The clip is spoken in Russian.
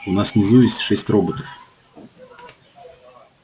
у нас внизу есть шесть роботов